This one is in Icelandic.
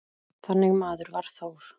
Þannig maður var Þór.